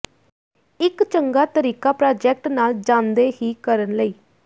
ਇੱਕ ਚੰਗਾ ਤਰੀਕਾ ਪ੍ਰਾਜੈਕਟ ਨਾਲ ਜਾਣਦੇ ਹੀ ਕਰਨ ਲਈ